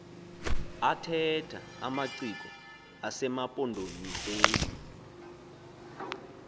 athetha amaciko asemampondomiseni